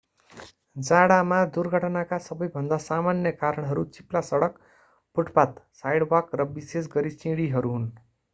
जाडामा दुर्घटनाका सबैभन्दा सामान्य कारणहरू चिप्ला सडक फुटपाथ साइडवाक र विशेष गरी सिंढीहरू हुन्।